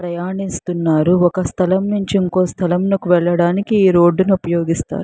ప్రయాణిస్తున్నారు ఒక స్థలం నుంచి ఇంకో స్థలంలోకి వెళ్ళడానికి ఈ రోడ్ ను ఉపయోగిస్తారు.